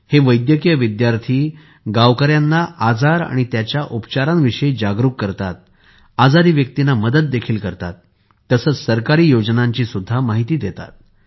हे वैद्यकीय विद्यार्थी गावक गावकऱ्यांना आजारा आणि त्याच्या उपचारां विषयी जागरूक करतात आजारी व्यक्तींना देखील मदत करतात तसेच सरकारी योजनांची देखील माहिती देतात